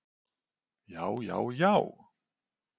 já já já!